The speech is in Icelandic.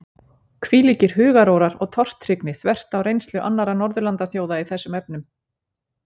Hvílíkir hugarórar og tortryggni þvert á reynslu annarra Norðurlandaþjóða í þessum efnum!